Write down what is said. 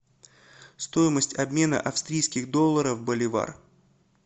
стоимость обмена австрийских долларов в боливар